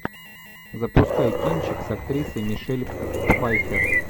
запускай кинчик с актрисой мишель пфайфер